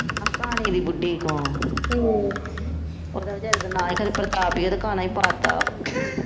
ਆਹ ਕਾਣੇ ਦੀ ਬੁਧੀ ਕੋਲ ਉਹਦਾ ਵਚਾਰੇ ਦਾ ਨਾਂ ਹੀ ਖਨੀ ਪ੍ਰਤਾਪ ਉਹਦਾ ਕਾਣਾ ਹੀ ਪਾ ਤਾ